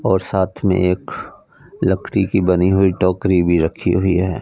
और साथ में एक लकड़ी की बनी हुई टोकरी भी रखी हुई है।